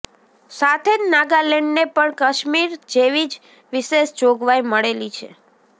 સાથે જ નાગાલેન્ડને પણ કાશ્મીર જેવી જ વિશેષ જોગવાઇ મળેલી છે